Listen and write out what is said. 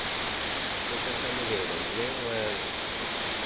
fokotsa lebelo mme o eme